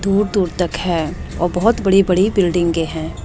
दूर दूर तक है और बहोत बड़ी बड़ी बिल्डिंगे है।